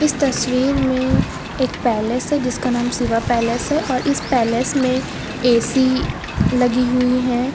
इस तस्वीर में एक पैलेस है जिसका नाम शिवा पैलेस है और इस पैलेस मे ए_सी लगी हुई है।